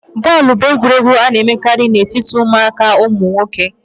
bọọlụ bụ egwuregwu a na-emekarị na etiti ụmụaka ụmụ nwoke